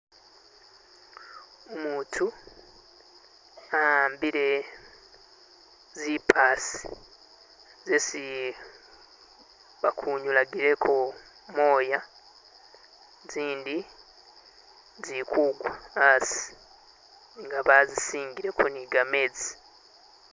Umuntu awambile zipaasi zesi bakunyulegileko gamoya zindi zilikugwa asi nga bazisingileko ni gamezi.